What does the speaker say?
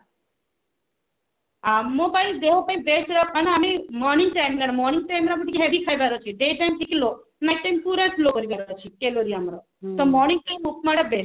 ଆଉ ମୋ ପାଇଁ ଦେହ ପାଇଁ best ଯୋଉଟା କାରଣ ଆମେ morning time morning time ରେ ଆମକୁ ଟିକେ heavy ଖାଇବାର ଅଛି day time ଟିକେ low ପୁରା low କରିବାର ଅଛି calorie ଆମର ତ morning time ଉପମା ଟା best